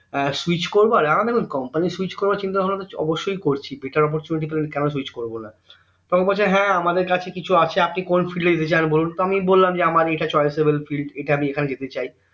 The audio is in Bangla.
এর switch করবার এর দেখুন company switch করার চিন্তা ভাবনা তো অবশই করছি bettar opportunity পেলে আমি কেন switch করবো না তখন বলছে হ্যাঁ আমাদের কাছে কিছু আছে আপনি কোন fild এ যেতে চান বলুন তো আমি বললাম যে আমার এটা choiceable fild ইটা আমি এখানে যেতে চাই